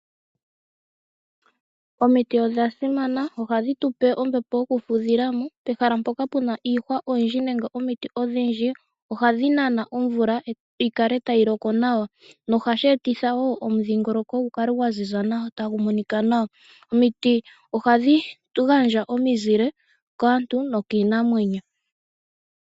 Omiti odhasimana ohadhi tupe ombepo yokufudhilamo. Pehala mpoka puna omiti odhindji ohadhi nana omvula yi kale tayi loko nawa. Ohashi eta omudhingoloko gu kale gwaziza nawa tagu monika nawa. Omiti ohadhi gandja omizile kantu nokiinamwenyo.